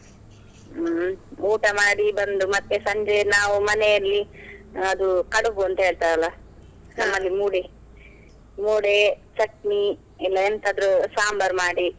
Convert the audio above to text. ಹ್ಮ್, ಊಟ ಮಾಡಿ ಬಂದು ಮತ್ತೆ ಸಂಜೆ ನಾವು ಮನೆಯಲ್ಲಿ ಅದು ಕಡುಬು ಅಂತ ಹೇಳ್ತರಲ್ಲಾ? ಮೂಡೆ , ಮೂಡೆ ಚಟ್ನಿ, ಎಲ್ಲ ಎಂತಾದ್ರೂ ಸಾಂಬಾರ್ ಮಾಡಿ.